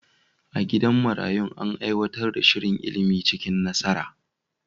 A gidan marayun, an aiwatar da shirin ilimi cikin nasara.